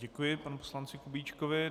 Děkuji panu poslanci Kubíčkovi.